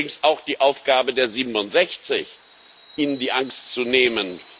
Das ist übrigens auch die Aufgabe der 67, ihnen die Angst zu nehmen.